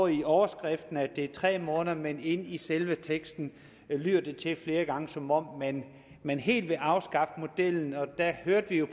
i overskriften at det er tre måneder men inde i selve teksten lyder det flere gange som om man helt vil afskaffe modellen og der hørte vi jo